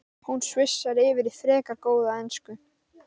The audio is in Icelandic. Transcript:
Hún svissar yfir í frekar góða ensku